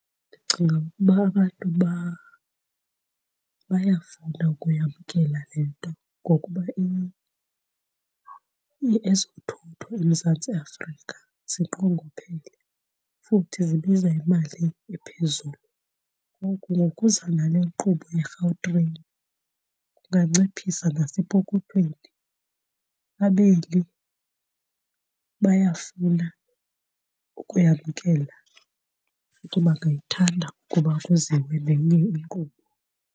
Ndicinga ukuba abantu bayafuna ukuyamkela le nto ngokuba ezothutho eMzantsi Afrika zinqongophele futhi zibiza imali ephezulu. Ngoku ngokuza nale nkqubo yeGautrain kunganciphisa nasepokothweni. Abeli bayafuna ukuyamkela futhi bangayithanda ukuba kuziwe nenye inkqubo.